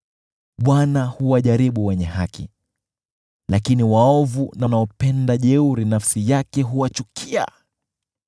Bwana huwajaribu wenye haki, lakini waovu na wanaopenda jeuri, nafsi yake huwachukia.